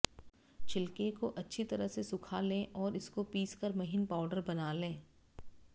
छिलके को अच्छा तरह से सूख लें और इसको पीस कर महीन पाउडर बना लें